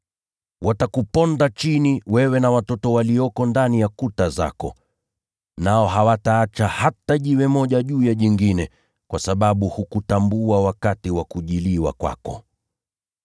Watakuponda chini, wewe na watoto walioko ndani ya kuta zako. Nao hawataacha hata jiwe moja juu ya jingine, kwa sababu hukutambua wakati wa kujiliwa kwako.”